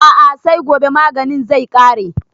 A'a sai gobe maganin zai ƙare